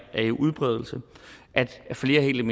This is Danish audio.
udbredelse kan flere helt